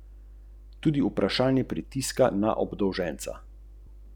Ogledala sem si globoki urez nad kolenom, krvavo progo.